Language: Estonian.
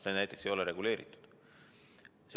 See ei ole reguleeritud.